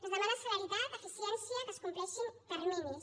es demana celeritat eficiència que es compleixin terminis